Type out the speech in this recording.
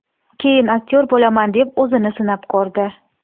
Keyin aktyor bo‘laman deb o‘zini sinab ko‘rdi.